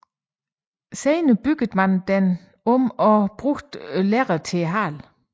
Senere byggede man den om og brugte lærred til halen